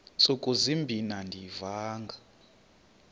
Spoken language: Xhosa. ntsuku zimbin andiyivanga